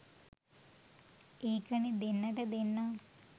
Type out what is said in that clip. ඒකනේ දෙන්නට දෙන්නා